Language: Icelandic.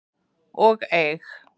og eig.